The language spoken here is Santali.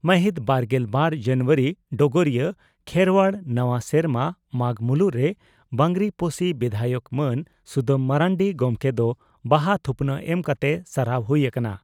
ᱢᱟᱦᱤᱛ ᱵᱟᱨᱜᱮᱞ ᱵᱟᱨ ᱡᱟᱱᱩᱣᱟᱨᱤ (ᱰᱚᱜᱚᱨᱤᱭᱟᱹ) ᱺ ᱠᱷᱮᱨᱣᱟᱲ ᱱᱟᱣᱟ ᱥᱮᱨᱢᱟ ᱢᱟᱜᱽ ᱢᱩᱞᱩᱜ ᱨᱮ ᱵᱟᱸᱜᱽᱨᱤᱯᱳᱥᱤ ᱵᱤᱫᱷᱟᱭᱚᱠ ᱢᱟᱱ ᱥᱩᱫᱟᱹᱢ ᱢᱟᱨᱱᱰᱤ ᱜᱚᱢᱠᱮ ᱫᱚ ᱵᱟᱦᱟ ᱛᱷᱩᱯᱱᱟᱜ ᱮᱢ ᱠᱟᱛᱮ ᱥᱟᱨᱦᱟᱣ ᱦᱩᱭ ᱟᱠᱟᱱᱟ ᱾